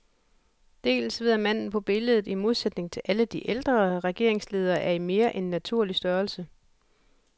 Dels ved at manden på billedet, i modsætning til alle de ældre regeringsledere, er i mere end naturlig størrelse.